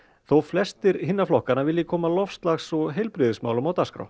þó flestir hinna flokkanna vilji koma loftslags og heilbrigðismálunum á dagskrá